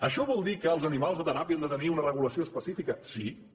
això vol dir que els animals de teràpia han de tenir una regulació específica sí també